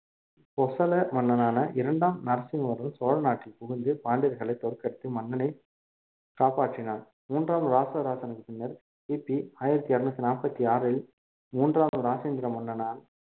போசள மன்னனான இரண்டாம் நரசிம்ம~ சோழ நாட்டில் புகுந்து பாண்டியர்களை தோற்கடித்து மன்னனை காப்பாற்றினார். மூன்றாம் ராசராசனுக்கு பின்னர் கிபி ஆயிரத்தி இருநூத்தி நாற்பத்தி ஆறில் மூன்றாவது ராஜேந்திர மன்னனால்